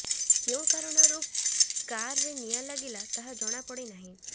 କେଉଁ କାରଣରୁ କାର୍ରେ ନିଆଁ ଲାଗିଲା ତାହା ଜଣାପଡ଼ି ନାହିଁ